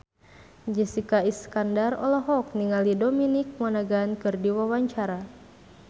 Jessica Iskandar olohok ningali Dominic Monaghan keur diwawancara